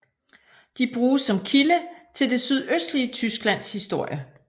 De bruges som kilde til det sydøstlige Tysklands historie